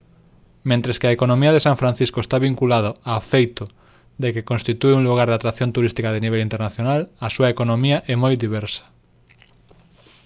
mentres que a economía de san francisco está vinculada ao feito de que constitúe un lugar de atracción turística de nivel internacional a súa economía é moi diversa